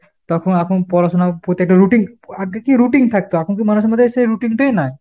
তখন এখন পড়াশুনার পত্তেকটা routine আগে কি routine থাকতো। এখনকার মানুষের মধ্যে সেই routine টাই নাই।